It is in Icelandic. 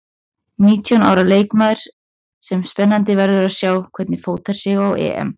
Nítján ára leikmaður sem spennandi verður að sjá hvernig fótar sig á EM.